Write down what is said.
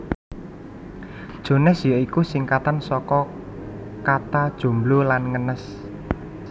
Jones ya iku singkatan saka kata Jomblo lan Ngenes